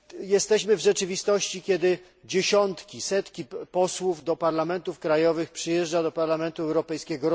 Jesteśmy w rzeczywistości, w której dziesiątki setki posłów do parlamentów krajowych przyjeżdżają do Parlamentu Europejskiego.